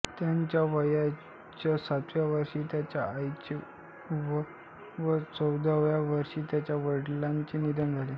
त्यांच्या वयाच्या सातव्या वर्षी त्यांच्या आईचे व चौदाव्या वर्षी त्यांच्या वडिलांचे निधन झाले